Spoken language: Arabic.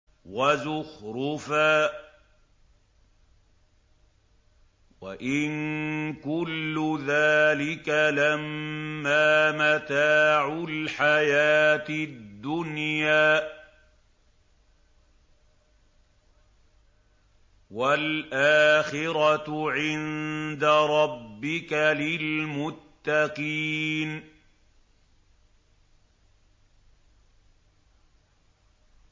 وَزُخْرُفًا ۚ وَإِن كُلُّ ذَٰلِكَ لَمَّا مَتَاعُ الْحَيَاةِ الدُّنْيَا ۚ وَالْآخِرَةُ عِندَ رَبِّكَ لِلْمُتَّقِينَ